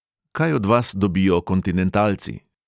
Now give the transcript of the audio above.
Kaj od vas dobijo kontinentalci?